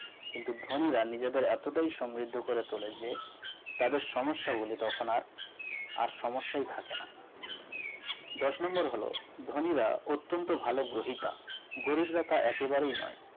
কিন্তু ধনীরা নিজেদের এতটাই সমৃদ্ধ করে তোলে যে তাদের সমস্যা গুলি তখন আর সমস্যাই থাকেনা দশ number হল ধনীরা অত্যন্ত ভালো গ্রহিতা গরিব লতা একেবারেই নয়